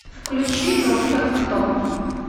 включи доктор кто